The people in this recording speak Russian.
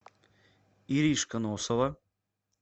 иришка носова